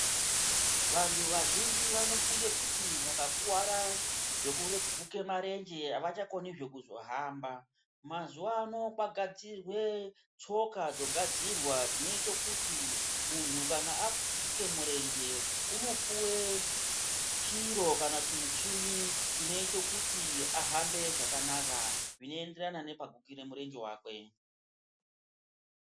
Vantu vazhinji vanofunge kuti mukakuvara zvekuguke marenje havachakonizve kuzohamba. Mazuva ano kogadzirwe tsoka dzogadzirwa dzinoite kuti muntu kana aguke murenje unopuve chiro kana chimuchini chinoite kuti ahambe zvakanaka, zvinoenderana nepaguke murenje vakwe.